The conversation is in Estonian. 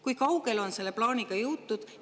Kui kaugele on selle plaaniga jõutud?